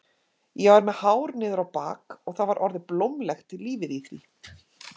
Ég var með hár niður á bak og það var orðið blómlegt lífið í því.